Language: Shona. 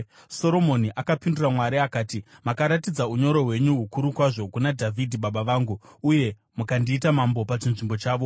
Soromoni akapindura Mwari akati, “Makaratidza unyoro hwenyu hukuru kwazvo kuna Dhavhidhi baba vangu uye mukandiita mambo pachinzvimbo chavo.